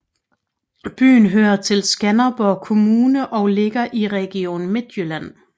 Byen hører til Skanderborg Kommune og ligger i Region Midtjylland